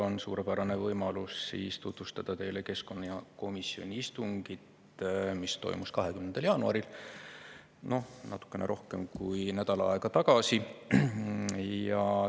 Mul on suurepärane võimalus tutvustada teile keskkonnakomisjoni istungit, mis toimus 20. jaanuaril, natukene rohkem kui nädal aega tagasi.